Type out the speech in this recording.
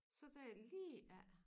Så dér lige af